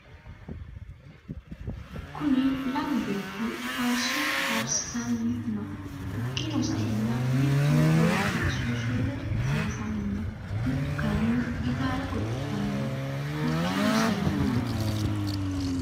Kunni lamu beeti faariso farisitani no hakiino sa'eena mittu beetti suusulle ofuufani no mittu kayiini gitaare godolani no hakiino sa'eena......